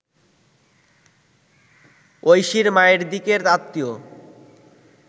ঐশীর মায়ের দিকের আত্মীয়